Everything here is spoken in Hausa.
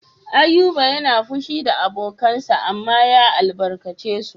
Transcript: Ayuba yana fushi da abokansa amma ya albarkace su.